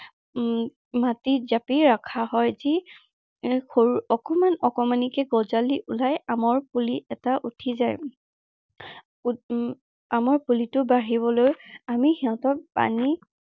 উম মাটিত জাপি ৰখা হয়। যি এৰ সৰু অকনমান অকনমানিকে গঁজালি ওলাই আমৰ পুলি এটা উঠি যায়। আহ আমৰ পুলিটো বাঢ়িবলৈ আমি সিহঁতক পানী